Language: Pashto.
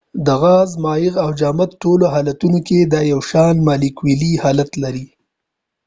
د غاز ،مایع او جامد ټولو حالتونو کې دا یو شان مالیکولی حالت لري